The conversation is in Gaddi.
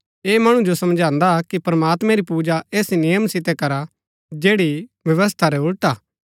ऐह मणु जो समझांदा कि प्रमात्मैं री पूजा ऐस नियम सितै करा जैड़ी व्यवस्था रै उलट हा